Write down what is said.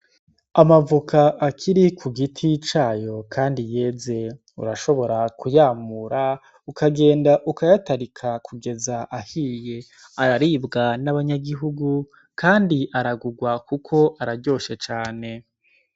Amavoka akiri ku giti cayo, kandi yeze urashobora kuyamura ukagenda ukayatarika kugeza ahiye araribwa n'abanyagihugu, kandi aragurwa, kuko araryoshe cane.